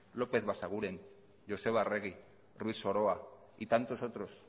lópez basaguren joseba arregi ruiz soroa y tantos otros